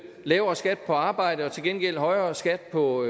lavere skat på arbejde og til gengæld højere skat på